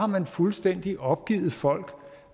man fuldstændig har opgivet folk